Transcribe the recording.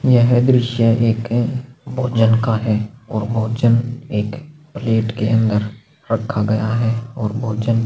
यह दृश्य एक भोजन का है और भोजन एक प्लेट के अंदर रखा गया है और भोजन--